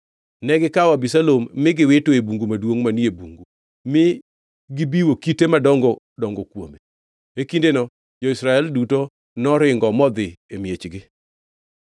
Negikawo Abisalom ma giwito e bugo maduongʼ manie bungu, mi gibiwo kite madongo dongo kuome. E kindeno jo-Israel duto noringo modhi e miechgi.